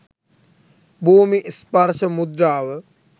භූමි ස්පර්ශ මුද්‍රාව